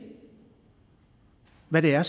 hvad det er